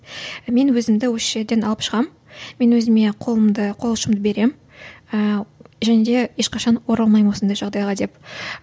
мен өзімді осы жерден алып шығамын мен өзіме қолымды қол ұшымды беремін ыыы және де ешқашан оралмаймын осындай жағдайға деп